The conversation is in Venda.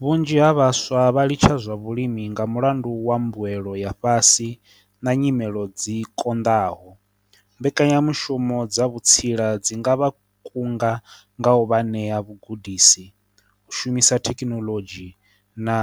Vhunzhi ha vhaswa vha litsha zwa vhulimi nga mulandu wa mbuelo ya fhasi na nyimelo dzi kondaho, mbekanyamushumo dza vhutsila dzi nga vha kunga nga u vha ṋea vhugudisi, u shumisa thekinoḽodzhi, na